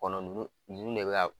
Kɔnɔ nunnu, nunnu de bɛ